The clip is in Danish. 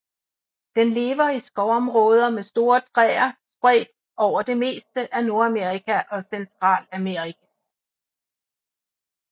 Den lever i skovområder med store træer spredt over det meste af Nordamerika og Centralamerika